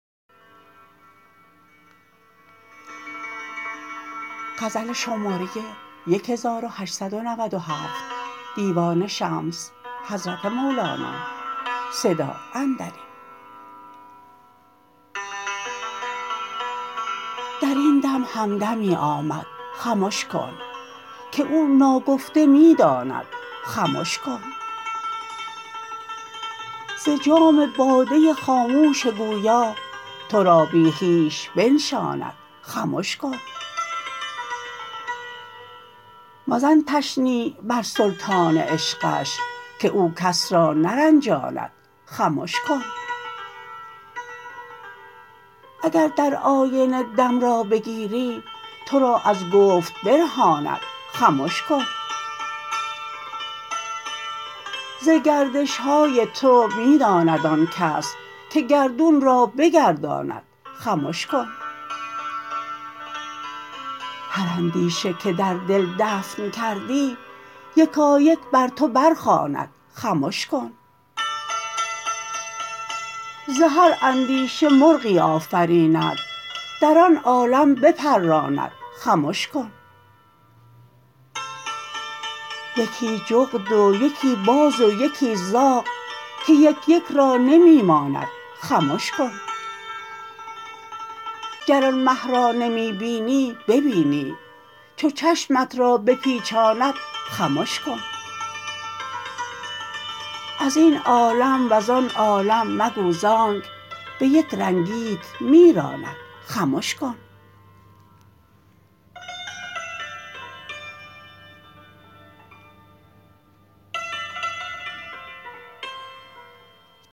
در این دم همدمی آمد خمش کن که او ناگفته می داند خمش کن ز جام باده خاموش گویا تو را بی خویش بنشاند خمش کن مزن تشنیع بر سلطان عشقش که او کس را نرنجاند خمش کن اگر در آینه دم را بگیری تو را از گفت برهاند خمش کن ز گردش های تو می داند آن کس که گردون را بگرداند خمش کن هر اندیشه که در دل دفن کردی یکایک بر تو برخواند خمش کن ز هر اندیشه مرغی آفریند در آن عالم بپراند خمش کن یکی جغد و یکی باز و یکی زاغ که یک یک را نمی ماند خمش کن گر آن مه را نمی بینی ببینی چو چشمت را بپیچاند خمش کن از این عالم و زان عالم مگو زانک به یک رنگیت می راند خمش کن